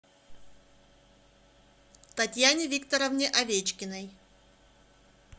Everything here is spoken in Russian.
татьяне викторовне овечкиной